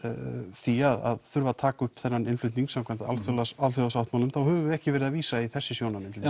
því að taka upp þennan innflutning samkvæmt alþjóðasáttmálanum þá höfum við ekki verið að vísa í þessi sjónarmið til